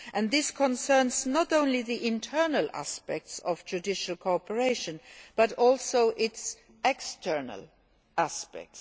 This concerns not only the internal aspects of judicial cooperation but also its external aspects.